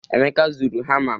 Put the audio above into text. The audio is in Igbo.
Emeka zuru hama m